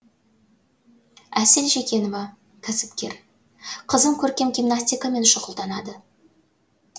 әсел жекенова кәсіпкер қызым көркем гимнастикамен шұғылданады